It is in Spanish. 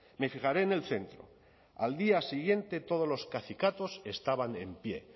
me fijaré en el centro al día siguiente todos los cacicatos estaban en pie